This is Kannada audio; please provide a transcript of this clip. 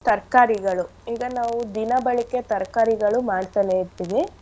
ತರ್ಕಾರಿಗಳು ಈಗ ನಾವು ದಿನಬಳಕೆ ತರ್ಕಾರಿಗಳು ಮಾಡ್ತನೇ ಇರ್ತಿವಿ.